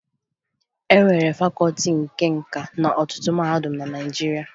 E nwere Fakọọti nke Nka n'ọtụtụ mahadum na Naịjirịa